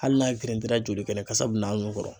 Hali n'a girintila , oli kɛnɛ kasa bɛ n'a nun kɔrɔ.